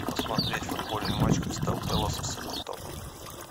посмотреть футбольный матч кристал пэласа с эвертоном